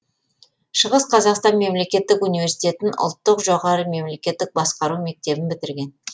шығыс қазақстан мемлекеттік университетін ұлттық жоғары мемлекеттік басқару мектебін бітірген